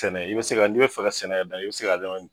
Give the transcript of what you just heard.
Tɛnɛ, i bɛ se ka, n' i bɛ fɛ ka sɛnɛ yɛrɛ da, i bɛ se ka